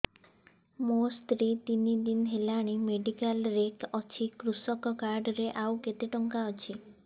ମୋ ସ୍ତ୍ରୀ ତିନି ଦିନ ହେଲାଣି ମେଡିକାଲ ରେ ଅଛି କୃଷକ କାର୍ଡ ରେ ଆଉ କେତେ ଟଙ୍କା ଅଛି